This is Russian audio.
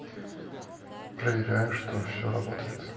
проверяю что всё работает